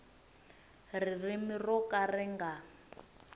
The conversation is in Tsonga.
ririmi ro ka ri nga